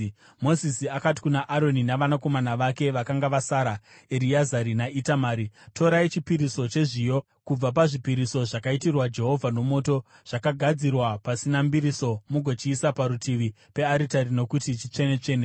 Mozisi akati kuna Aroni navanakomana vake vakanga vasara, Ereazari naItamari, “Torai chipiriso chezviyo kubva pazvipiriso zvakaitirwa Jehovha nomoto, zvakagadzirwa pasina mbiriso mugochiisa parutivi pearitari nokuti chitsvene-tsvene.